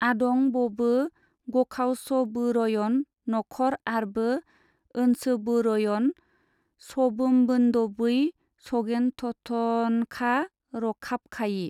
आदं बबो गखावसबोरयन नखर आरबो ओन्सबोरयन सबोमबोन्दबै सगेनथथनखा रखाबखायि।